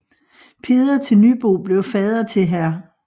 Peder til Nybo blev fader til hr